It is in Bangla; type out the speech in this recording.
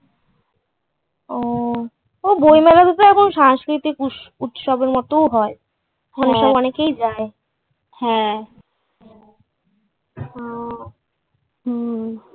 ওহ বইমেলাতেও তো এমন সাংস্কৃতিক উত্স - উৎসব এর মতো ও হয়। অনেকেই যায়। ওহ। হুম্ম।